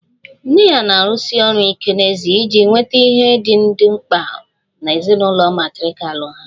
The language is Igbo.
Nne ya na-arụsi ọrụ ike n'ezie iji nweta ihe ndị dị mkpa na ezinụlọ matrirkal ha